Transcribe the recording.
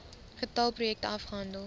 getal projekte afgehandel